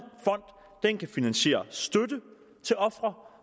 en fond kan finansiere støtte til ofre